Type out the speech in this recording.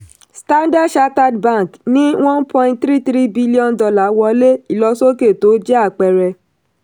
standard chartered bank ní one point three three billion dollars wọlé ìlọsókè tó jẹ́ àpẹẹrẹ.